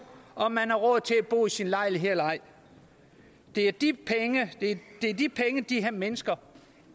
om man har råd til at bo i sin lejlighed eller ej det er de de penge de her mennesker